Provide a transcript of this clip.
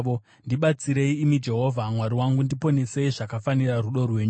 Ndibatsirei, imi Jehovha Mwari wangu; ndiponesei zvakafanira rudo rwenyu.